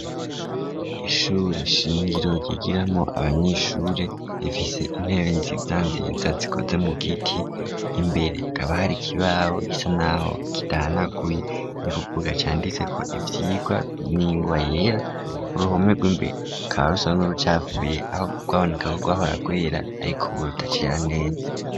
Ishure shingiro ryigiramwo abanyeshure rifise intebenziyandiriza zikoze mu giti imbere akaba hari ikibawo gisa naho kiranaguye rikubuga cyanditse ko ibyirwa ningwa yera uruhome rw'imbee carse n'urucafuye aho gwaboneka ko gwahora guera ariko ubu rutacera neza.